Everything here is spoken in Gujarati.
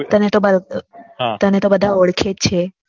તને તો બધા ઓરખે જ છે